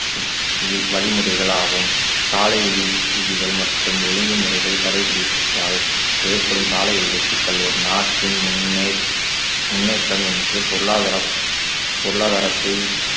we~ வழிமுறைகள் ஆகும் சாலை விதி~ விதிகள் மற்றும் ஒழுங்கு முறைகள் கடைபிடித்தால் ஏற்படும் சாலை விபத்துகள் ஒரு நாட்டின் முன்னே~ முன்னேற்றம் என்று பொருளாதாரம் பொருளாதாரத்தை